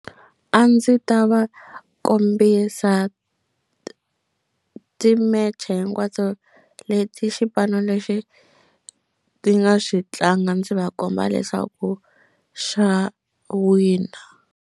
A ndzi ta va kombisa ti-match-e hinkwato leti xipano lexi ti nga xi tlanga ndzi va komba leswaku xa wina.